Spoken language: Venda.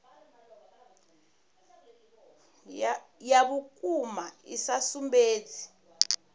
ya vhukuma i sa sumbedzi